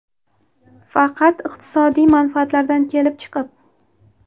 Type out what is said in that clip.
Faqat iqtisodiy manfaatlardan kelib chiqib.